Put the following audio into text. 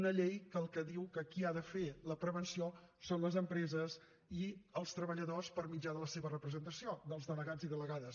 una llei que el que diu que qui ha de fer la prevenció són les empreses i els treballadors per mitjà de la seva representació dels delegats i delegades